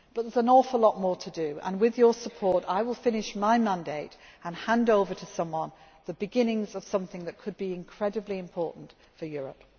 can all be proud of. There is an awful lot more to do and with your support I will finish my mandate and hand over to someone the beginnings of something that can be incredibly important for Europe.